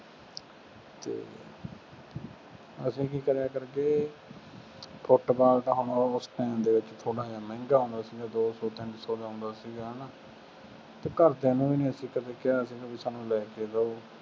ਅਸੀਂ ਕੀ ਕਰਿਆ ਕਰੀਏ, ਫੁੱਟਬਾਲ ਤਾਂ ਹੁਣ ਉਸ time ਦੇ ਵਿੱਚ ਥੋੜ੍ਹਾ ਜਿਹਾ ਮਹਿੰਗਾ ਆਉਂਦਾ ਸੀ। ਦੋ ਦੋ ਤਿੰਨ ਸੌ ਦਾ ਆਉਂਦਾ ਸੀਗਾ ਹੈ ਨਾ, ਤੇ ਘਰ ਦਿਆਂ ਨੂੰ ਵੀ ਨਹੀਂ ਅਸੀਂ ਕਦੇ ਕਿਹਾ ਸੀ ਬਈ ਸਾਨੰ ਲੈ ਕੇ ਦਿਉ।